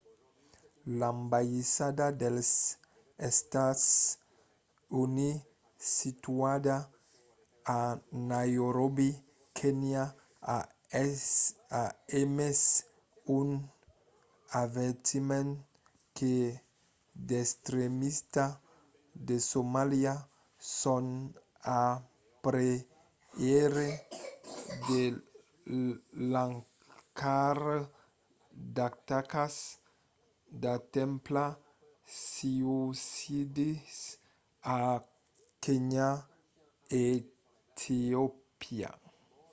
l’ambaissada dels estats units situada a nairobi kenya a emés un avertiment que d'extremistas de somalia son a preveire de lançar d’atacas d’atemptats suïcidis a kenya e etiopia